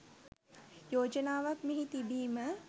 යෝජනාවක් මෙහි තිබීම